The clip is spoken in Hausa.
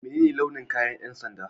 Menene launin kayan ƴan sanda?